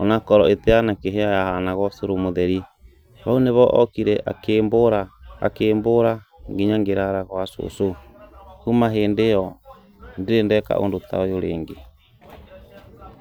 onakorwo ĩtĩanakĩhĩa yahanaga ũcũrũ mũtheri, no nivo okire akimbũra, akĩmbũra nginya ngĩrara gwa cũcũ, kuuma hĩndĩ ĩyo ndirĩ ndeka ũndũ ta ũyũ rĩngĩ.